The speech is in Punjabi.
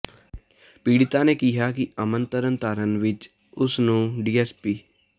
ਪੀੜਤਾ ਨੇ ਕਿਹਾ ਕਿ ਅਮਨ ਤਰਨਤਾਰਨ ਵਿਚ ਉਸ ਨੂੰ ਡੀਐੱਸਪੀ